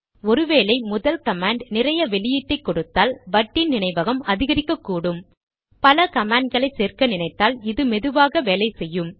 ஒரு வேளை முதல் கமாண்ட் நிறைய வெளியீட்டை கொடுத்தால் வட்டின் நினைவகம் அதிகரிக்ககூடும் பல கமாண்ட்களை சேர்க்க நினைத்தால் இது மெதுவாகவே வேலை செய்யும்